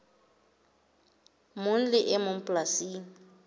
mong le e mong polasing